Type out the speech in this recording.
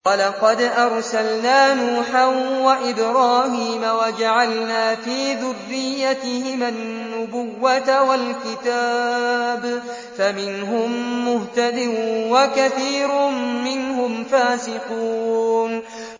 وَلَقَدْ أَرْسَلْنَا نُوحًا وَإِبْرَاهِيمَ وَجَعَلْنَا فِي ذُرِّيَّتِهِمَا النُّبُوَّةَ وَالْكِتَابَ ۖ فَمِنْهُم مُّهْتَدٍ ۖ وَكَثِيرٌ مِّنْهُمْ فَاسِقُونَ